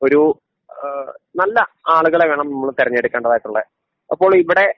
ഒരു ഏഹ് നല്ല ആളുകളെ വേണം നമ്മള് തെരഞ്ഞെടുക്കേണ്ടതായിട്ടുള്ളെ അപ്പോളിവിടെ